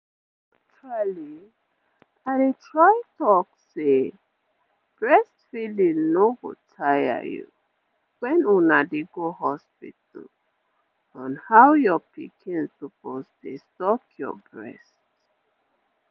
actually i dey try talk say breastfeeding no go tire you when una dey go hospital on how your pikin suppose dey suck your breast